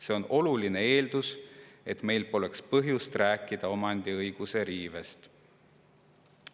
See on oluline eeldus, et meil poleks põhjust rääkida omandiõiguse riivest.